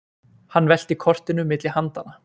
Hann velti kortinu milli handanna.